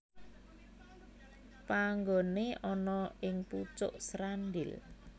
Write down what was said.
Panggoné ana ing pucuk Srandil